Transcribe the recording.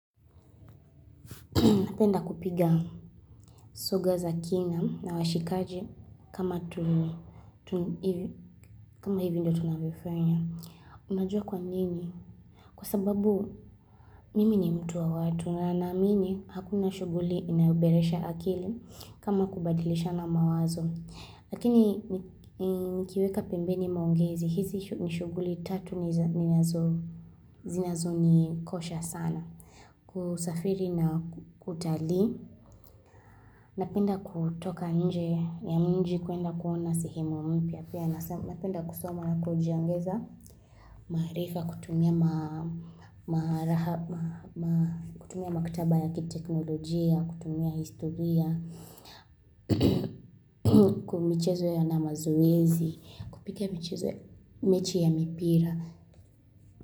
Napenda kupiga soga za kina na washikaji kama hivi ndo tunavyofanya. Unajua kwa nini? Kwa sababu mimi ni mtu wa watu na ninaamini hakuna shughuli inayuboresha akili kama kubadilishana mawazo. Lakini nikiweka pembeni maongezi, hizi shughuli tatu zinazo ni kosha sana. Kusafiri na kutali. Napenda kutoka nje ya mji kuenda kuona sehemu mpya pia Napenda kusoma na kujiongeza maarifa kutumia maktaba ya kiteknolojia, kutumia historia Kwa michezo ya na mazoezi, kupiga mechi ya mipira.